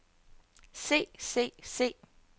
se se se